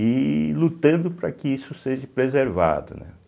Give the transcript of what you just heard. e lutando para que isso seja preservado, né.